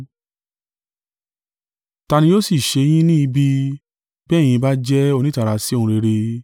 Tá nì yóò sì ṣe yín ní ibi, bí ẹ̀yin bá jẹ́ onítara sí ohun rere?